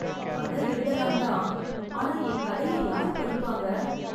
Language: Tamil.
கதை எழுதலாம் தான், ஆனா என் கதையை யாரு படிப்பாங்க?